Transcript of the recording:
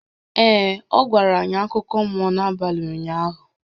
Ee, ọ gwara anyị akụkọ mmụọ n'abalị ụnyaahụ